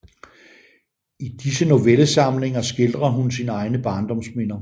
I disse Novellesamlinger skildrer hun sine egne Barndomsminder